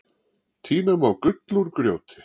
Tína má gull úr grjóti.